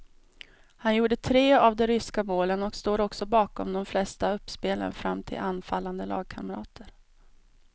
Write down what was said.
Han gjorde tre av de ryska målen och stod också bakom de flesta uppspelen fram till anfallande lagkamrater.